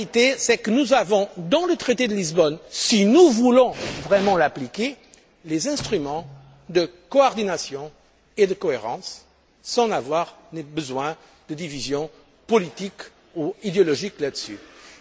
Et la vérité c'est que nous avons, dans le traité de Lisbonne, si nous voulons vraiment l'appliquer, les instruments de coordination et de cohérence nécessaires, sans avoir besoin de divisions politiques ou idéologiques sur ce